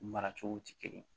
Mara cogo tɛ kelen ye